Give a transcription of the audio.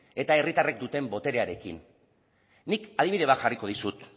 eta herritarrek duten boterearekin nik adibide bat jarriko dizut